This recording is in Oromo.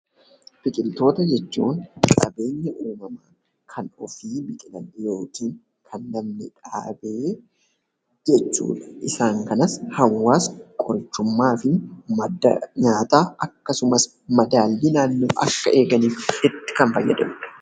Biqiltoota jechuun qabeenya uumamaa kan ofii biqilan yookiin kan namni dhaabe jechuu dha. Isaan kanas hawaasni qorichummaa fi madda nyaataa akkasumas madaallii naannoo akka eeganiif itti kan fayyadamu dha.